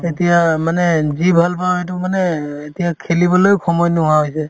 এতিয়া মানে যি ভাল পাওঁ সেইটো মানে এতিয়া খেলিবলৈও সময় নোহোৱা হৈছে